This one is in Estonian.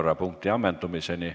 Istungi lõpp kell 13.35.